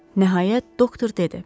Nəhayət, doktor dedi: